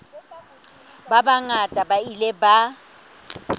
ba bangata ba ile ba